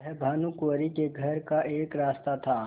वह भानुकुँवरि के घर का एक रास्ता था